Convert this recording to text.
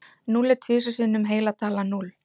Núll er tvisvar sinnum heila talan núll.